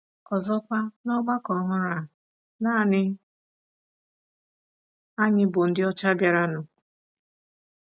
Ọzọkwa, n’ọgbakọ ọhụrụ a, nanị anyị bụ ndị ọcha bịaranụ.